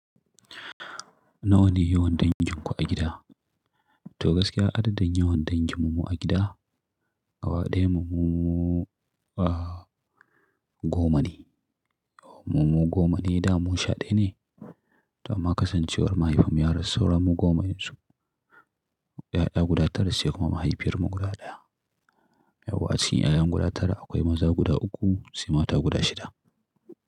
Nawa ne yawan dangin ku a gida? To gaskiya adadin yawan dangin mu a gida gaba ɗaya mu, mu a gomane. Mu mu goma ne da Musa ɗaya ne. Ta ma kasancewar mahaifin mu ya rasu sauran mu goma yanzu. 'Ya'ya guda ta rasu sai kuma mahaifiyar mu guda ɗaya. A waƙacin 'ya'yan guda tara akwai maza guda uku sai mata guda shida.